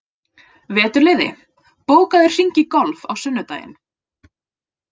Veturliði, bókaðu hring í golf á sunnudaginn.